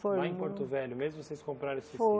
Foi um Lá em Porto Velho, mesmo vocês compraram esse sí Foi